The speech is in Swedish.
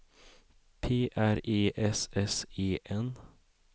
P R E S S E N